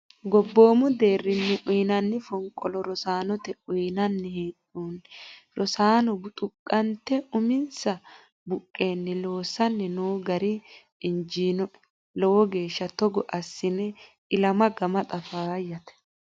Gobbomu deerrinni uyinanni fonqolo rosaanote uyinanni hee'nonni rosano buxuqante uminsa buqqenni loossanni no gari injinoe lowo geeshsha togo assine ilama gamaxa faayyate.